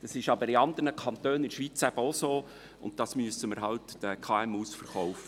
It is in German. Es ist aber in anderen Kantonen in der Schweiz auch so, und das müssen wir halt den KMU verkaufen.